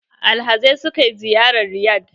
Alhazai sukai ziyara Riyad